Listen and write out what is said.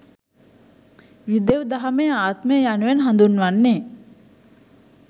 යුදෙව් දහමේ ආත්මය යනුවෙන් හඳුන්වන්නේ